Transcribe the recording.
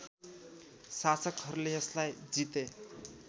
शासकहरूले यसलाई जिते